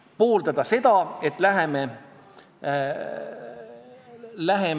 On üks pikk sõna, mida ma ei suuda mitte maha lugedes välja öelda: hexakosioihexekontahexafobia.